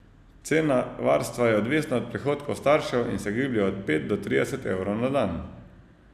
Cena varstva je odvisna od prihodkov staršev in se giblje od pet do trideset evrov na dan.